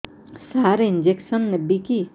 ସାର injection ନେବିକି